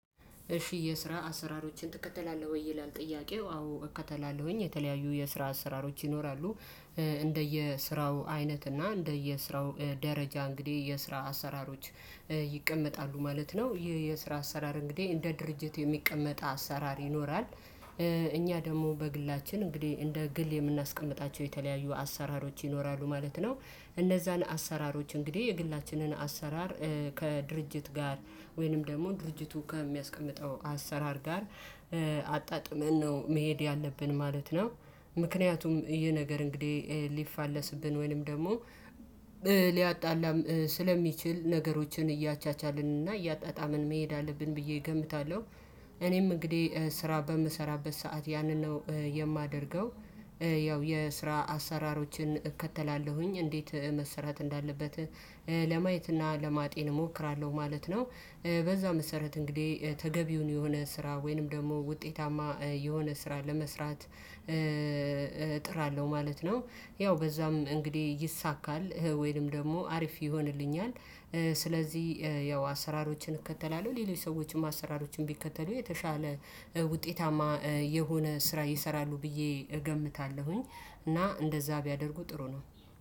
እሺ የስራ አሰራሮችን ትከተላለህ? ወይ ይላል ጥያቄው አዎ እከተላለሁኝ የተለያዩ የስራ አሰራሮች ይኖራሉ። እንደየስራው አይነት እና እንደየስራው ደረጃ እንግዲህ የስራ አሰራሮች ይቀመጣሉ ማለት ነው ይህ የስራ አሰራር እንግዲህ እንደ ድርጅት የሚቀመጥ አሰራር ይኖራል። እኛ ደግሞ በግላችን እንግዲህ እንደ ግል የምናስቀምጣቸው የተለያዩ አሰራሮች ይኖራሉ ማለት ነው። እነዛን አሰራሮች እንግዲህ የግላችንን አሰራር ከድርጅት ጋር ወይንም ደግሞ ድርጅቱ ከሚያስቀምጠው አሰራር ጋር አጣጥመን ነው መሄድ ያለብን ማለት ነው። ምክንያቱም ይሄ ነገር እንግዲህ ሊፋለስብን ወይንም ደግሞ ሊያጣላም ስለሚችል ነገሮችን እያቻቻልን እና እያጣጣምን መሄድ አለብን ብዬ እገምታለሁ። እኔም እንግዲህ ስራ በምሰራበት ሰዓት ያንን ነው የማደርገው። ያው የስራ አሰራሮችን እከተላለሁኝ እንዴት መሰራት እንዳለበት ለማየት እና ለማጤን እሞክራለሁ ማለት ነው። በዛ መሰረት እንግዲህ ተገቢውን የሆነ ስራ ወይንም ደግሞ ውጤታማ የሆነ ስራ ለመስራት እጥራለሁ ማለት ነው። ያው በዛም እንግዲህ ይሳካል ወይንም ደግሞ አሪፍ ይሆንልኛል። ስለዚህ ያው አሰራሮችን እከተላለሁ ሌሎች ሰዎችም አሰራሮችን ቢከተሉ የተሻለ ውጤታማ የሆነ ስራ ይሰራሉ ብዬ እገምታለሁኝ። እና እንደዛ ቢያደርጉ ጥሩ ነው።